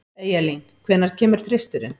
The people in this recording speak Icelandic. Eyjalín, hvenær kemur þristurinn?